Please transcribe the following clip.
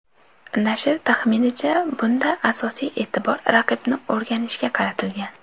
Nashr taxminicha, bunda asosiy e’tibor raqibni o‘rganishga qaratilgan.